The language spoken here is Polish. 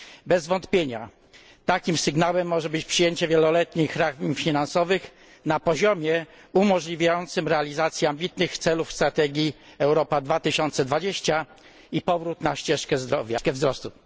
Bez wątpienia takim sygnałem może być przyjęcie wieloletnich ram finansowych na poziomie umożliwiającym realizację ambitnych celów strategii Europa 2020 i powrót na ścieżkę wzrostu.